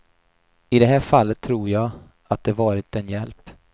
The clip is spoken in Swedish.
I det här fallet tror jag att det varit en hjälp.